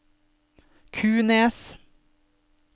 Kunes